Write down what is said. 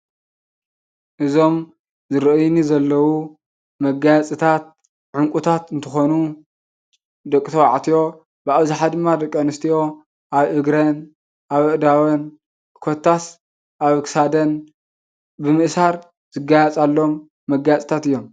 እዞም ዝርእይኒ Hለው መጋየፅታት ዑንቁታት እንትኾኑ ደቂ ተባዕትዮ ብኣብዛሓ ድማ ድቂ ኣንስትዮ ኣብ እግሪን ኣብ ዕዳወን ኮታስ ኣብ ክሳደን ብምእሳር ዝጋየፃሎም መጋየፅታት እዮም።